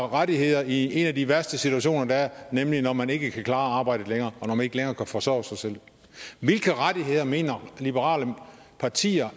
rettigheder i en af de værste situationer der er nemlig når man ikke kan klare arbejdet længere og når man ikke længere kan forsørge sig selv hvilke rettigheder mener liberale partier